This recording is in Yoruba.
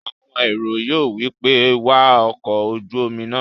Àwọn èrò yóò wí pé "wa ọkọ̀-ojúomi náà!"